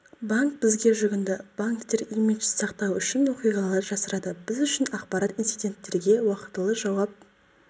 банк бізге жүгінді банктер имиджді сақтау үшін оқиғаларды жасырады біз үшін ақпарат инциденттерге уақтылы жауап